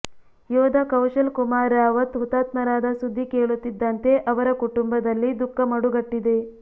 ಯೋಧ ಕೌಶಲ್ ಕುಮಾರ್ ರಾವತ್ ಹುತಾತ್ಮರಾದ ಸುದ್ದಿ ಕೇಳುತ್ತಿದ್ದಂತೆ ಅವರ ಕುಟುಂಬದಲ್ಲಿ ದುಃಖ ಮಡುಗಟ್ಟಿದೆ